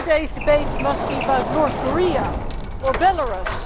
today's debate must be about North Korea or Belarus?